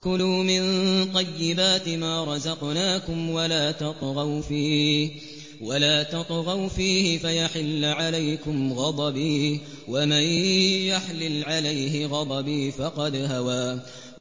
كُلُوا مِن طَيِّبَاتِ مَا رَزَقْنَاكُمْ وَلَا تَطْغَوْا فِيهِ فَيَحِلَّ عَلَيْكُمْ غَضَبِي ۖ وَمَن يَحْلِلْ عَلَيْهِ غَضَبِي فَقَدْ هَوَىٰ